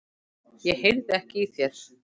Ég heyrði ekki í þér.